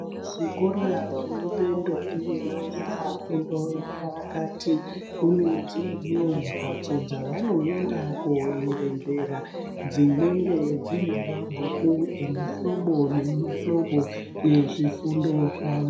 Zvikora zvinope ndombi nemajaha fundo yepakati kune dzimweniwo mhatso dzaanoenda koerengera dzinenge dzinemabhuku emuhlobo nemuhlobo ezvifundo zwawo.